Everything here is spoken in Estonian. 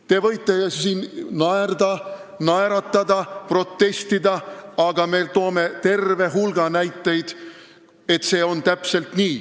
Te võite siin naerda, naeratada või protestida, aga me toome terve hulga näiteid, et nii see täpselt on.